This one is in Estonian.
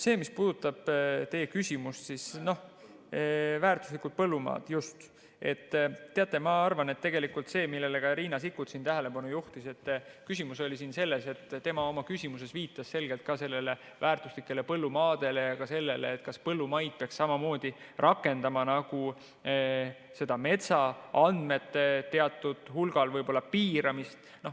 Mis puudutab teie küsimust väärtuslike põllumaade kohta, teate, ma arvan, et Riina Sikkut siin juhtis tähelepanu ja viitas selgelt ka väärtuslikele põllumaadele ja sellele, kas põllumaade puhul peaks samamoodi nagu metsaandmete puhul rakendama teatud hulgal piiramist.